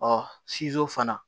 Ɔ fana